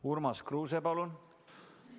Urmas Kruuse, palun!